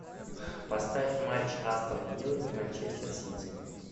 поставь матч астон виллы и манчестер сити